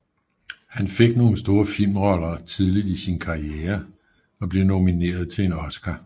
Han fik nogle store filmroller tidligt i sin karriere og blev nomineret til en Oscar